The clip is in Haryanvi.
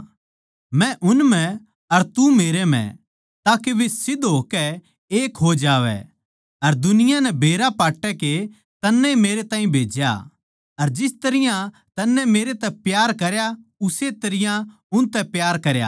मै उन म्ह अर तू मेरे म्ह के वे सिध्द होकै एक हो जावै अर दुनिया नै बेरा पाट्टै के तन्नै ए मेरैताहीं भेज्या अर जिस तरियां तन्नै मेरतै प्यार करया उस्से तरियां उनतै प्यार करया